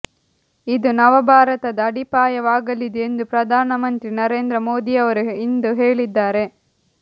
ಇದು ನವ ಭಾರತದ ಅಡಿಪಾಯವಾಗಲಿದೆ ಎಂದು ಪ್ರಧಾನಮಂತ್ರಿ ನರೇಂದ್ರ ಮೋದಿಯವರು ಇಂದು ಹೇಳಿದ್ದಾರೆ